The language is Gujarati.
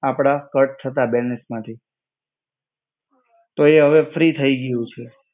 આપડા કટ થતા બેલેન્સ માંથી તો એ અવે ફ્રી થઇ ગયું છે.